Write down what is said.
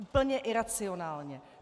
Úplně iracionálně.